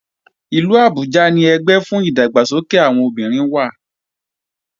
Ìlú Abuja ni ẹgbẹ́ fún ìdàgbàsókè àwọn obìnrin wà